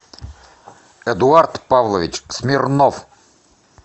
эдуард павлович смирнов